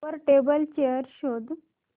वर table chair शोध